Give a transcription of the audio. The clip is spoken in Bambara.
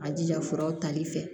A jija furaw tali fɛ